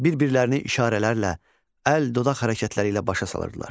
Bir-birlərini işarələrlə, əl, dodaq hərəkətləri ilə başa salırdılar.